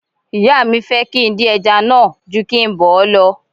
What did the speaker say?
Ìyá mi fẹ́ kí n dín ẹja náà ju kí n bọ̀ ọ́ lọ